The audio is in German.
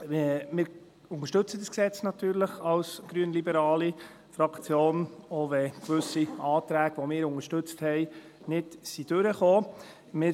Als grünliberale Fraktion unterstützen wir dieses Gesetz natürlich, auch wenn gewisse Anträge, die wir unterstützt haben, nicht durchgekommen sind.